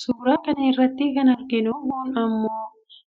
suuraa kana irratti kan arginu kun immoo